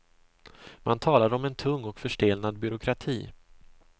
Man talar om en tung och förstelnad byråkrati.